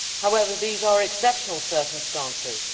However, these are exceptional circumstances.